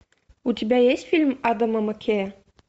у тебя есть фильм адама маккея